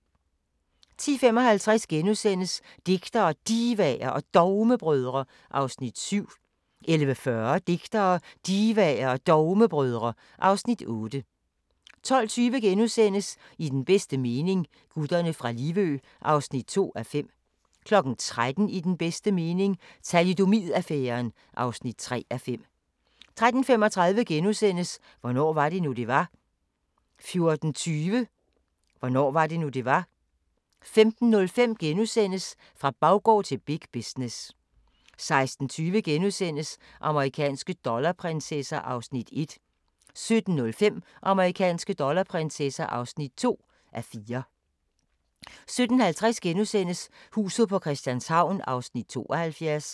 10:55: Digtere, Divaer og Dogmebrødre (Afs. 7)* 11:40: Digtere, Divaer og Dogmebrødre (Afs. 8) 12:20: I den bedste mening – Gutterne fra Livø (2:5)* 13:00: I den bedste mening – Thalidomid-affæren (3:5) 13:35: Hvornår var det nu, det var? * 14:20: Hvornår var det nu, det var? 15:05: Fra baggård til big business * 16:20: Amerikanske dollarprinsesser (1:4)* 17:05: Amerikanske dollarprinsesser (2:4) 17:50: Huset på Christianshavn (72:84)*